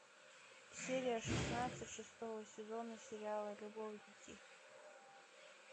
серия шестнадцать шестого сезона сериала любовники